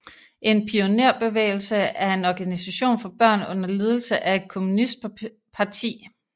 En pionerbevægelse er en organisation for børn under ledelse af et kommunistparti